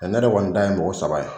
ne yɛrɛ kɔni ta ye saba ye.